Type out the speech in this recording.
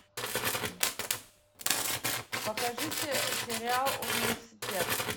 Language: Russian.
покажи сериал университет